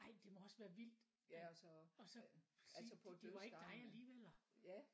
Ej det må også være vildt og så sige det det var ikke dig alligevel eller